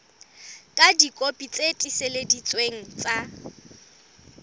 ka dikopi tse tiiseleditsweng tsa